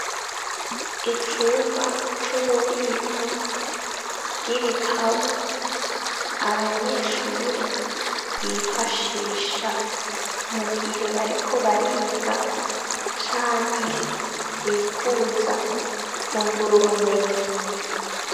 Icumba c'ububiko bw'ibitabu abanyeshure bifashisha mu gihe bariko bariga canke bipfuza ku ngura bumenyi.